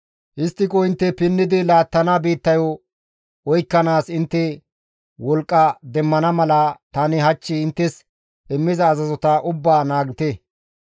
Histtiko intte pinnidi laattana biittayo oykkanaas intte wolqqa demmana mala tani hach inttes immiza azazota ubbaa naagite.